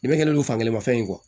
I bɛ kɛlen don fankelen ma fɛn in kɔ